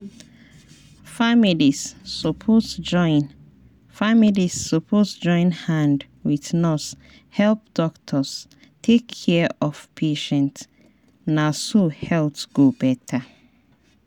families suppose join families suppose join hand wit nurse help doctor take care of patient na so health go better.